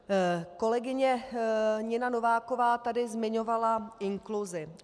Kolegyně Nina Nováková tady zmiňovala inkluzi.